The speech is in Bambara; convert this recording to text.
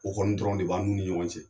O kɔni dɔrɔn de b'an n'u ni ɲɔgɔn cɛ.